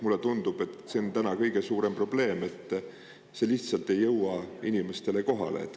Mulle tundub, et see on täna kõige suurem probleem ja see ei jõua lihtsalt inimestele kohale.